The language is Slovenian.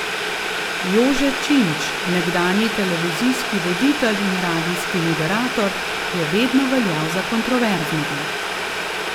Jože Činč, nekdanji televizijski voditelj in radijski moderator, je vedno veljal za kontroverznega.